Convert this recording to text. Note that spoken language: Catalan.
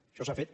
això s’ha fet